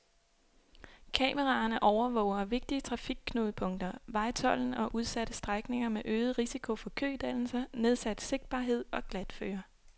Kameraerne overvåger vigtige trafikknudepunkter, vejtolden og udsatte strækninger med øget risiko for kødannelser, nedsat sigtbarhed og glatføre.